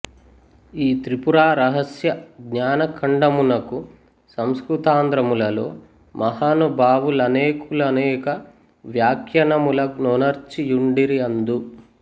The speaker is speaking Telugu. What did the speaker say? ఈ త్రిపురారహస్యజ్ఞానఖండమునకు సంస్కృతాంధ్రములలో మహానుభావు లనేకులనేక వ్యాఖ్యానముల నొనర్చి యుండిరి అందు